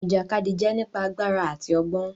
Ìjàkadì jẹ nípa àgbàrá àti ọgbọn.